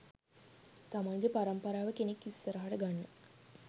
තමන්ගේ පරම්පරාවේ කෙනෙක් ඉස්සරහට ගන්න